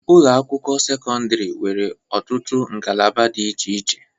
Ụlọ akwụkwọ sekọndiri nwere ọtụtụ ngalaba di iche iche.